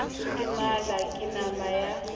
ke mala ke nama ya